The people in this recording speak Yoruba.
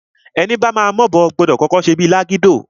Ẹni bama m'obo, gbọdọ̀ kọ́kọ́ ṣe bíi lágídò.